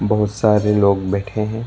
बहोत सारे लोग बैठे हैं।